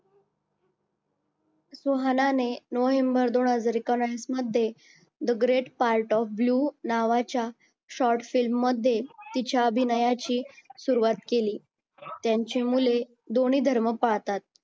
सुहानाने November दोन हजार एकोणवीस मध्ये the great part of blue नावाच्या short film मध्ये तिच्या अभिनयाची सुरुवात केली त्यांची मुले दोन्ही धर्म पाळतात.